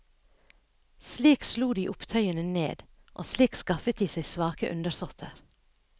Slik slo de opptøyene ned, og slik skaffet de seg svake undersåtter.